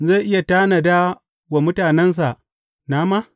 Zai iya tanada wa mutanensa nama?